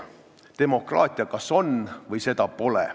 Demokraatia kas on või seda pole.